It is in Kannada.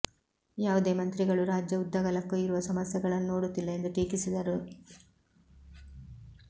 ಯಾವುದೇ ಮಂತ್ರಿಗಳು ರಾಜ್ಯ ಉದ್ದಗಲಕ್ಕೂ ಇರುವ ಸಮಸ್ಯೆಗಳನ್ನು ನೋಡುತ್ತಿಲ್ಲ ಎಂದು ಟೀಕಿಸಿದರು